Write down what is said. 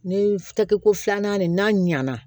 Ni takiko filanan nin n'a ɲana